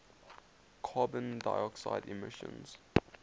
carbon dioxide emissions